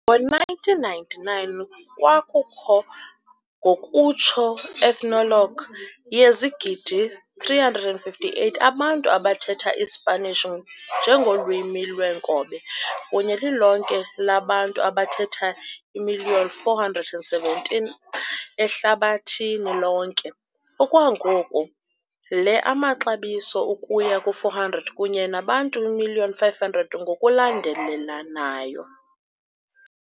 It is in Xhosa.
Ngo-1999 kwakukho, ngokutsho Ethnologue, yezigidi 358 abantu abathetha iSpanish njengolwimi lweenkobe kunye lilonke labantu abathetha million 417 ehlabathini lonke. Okwangoku, le amaxabiso ukuya ku 400 kunye nabantu million 500 ngokulandelelanayo.